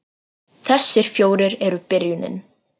Þessir fjórir eru byrjunin